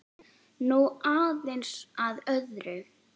Nú aðeins að öðru.